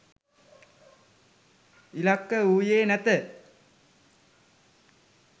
ඉලක්ක වූයේ නැත.